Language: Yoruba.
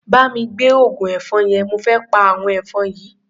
Bá mi gbé oògùn ẹ̀fọn yẹn, mo fé pa àwọn ẹ̀fọn yìí.